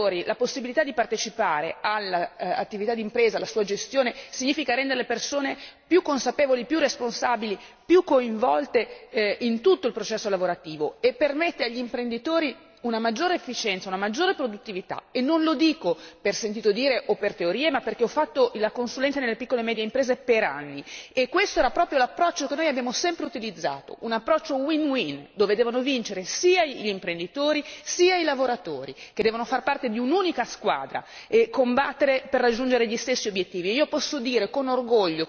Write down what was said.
Dare ai lavoratori la possibilità di partecipare all'attività d'impresa e alla sua gestione significa rendere le persone più consapevoli, più responsabili e più coinvolte in tutto il processo lavorativo e permette agli imprenditori una maggiore efficienza e una maggiore produttività. Non lo dico per sentito dire o per teorie, ma perché ho fatto la consulente nelle piccole e medie imprese per anni e questo era proprio l'approccio che noi abbiamo sempre utilizzato, un approccio win win dove devono vincere sia gli imprenditori, sia i lavoratori che devono far parte di un'unica squadra e combattere per raggiungere gli stessi obiettivi.